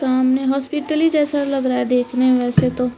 सामने हॉस्पिटल ही जैसा लग रहा है देखने में वैसे तो।